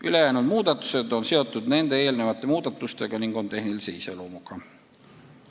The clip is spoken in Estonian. Ülejäänud muudatused on seotud kõigi nende muudatustega ning on tehnilise iseloomuga.